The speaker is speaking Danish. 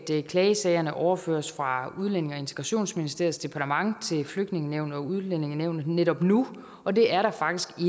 klagesagerne overføres fra udlændinge og integrationsministeriets departement til flygtningenævnet og udlændingenævnet netop nu og det er der faktisk